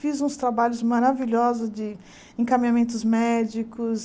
Fiz uns trabalhos maravilhosos de encaminhamentos médicos.